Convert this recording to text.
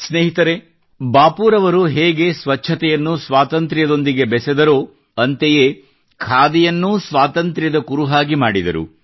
ಸ್ನೇಹಿತರೇ ಬಾಪೂರವರು ಹೇಗೆ ಸ್ವಚ್ಛತೆಯನ್ನು ಸ್ವಾತಂತ್ರ್ಯದೊಂದಿಗೆ ಬೆಸೆದರೋ ಅಂತೆಯೇ ಖಾದಿಯನ್ನೂ ಸ್ವಾತಂತ್ರ್ಯದ ಕುರುಹಾಗಿ ಮಾಡಿದರು